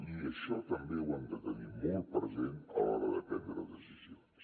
i això també ho hem de tenir molt present a l’hora de prendre decisions